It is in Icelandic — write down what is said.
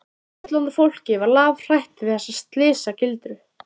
Fullorðna fólkið var lafhrætt við þessa slysagildru.